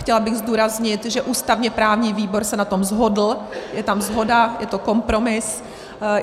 Chtěla bych zdůraznit, že ústavně-právní výbor se na tom shodl, je tam shoda, je to kompromis.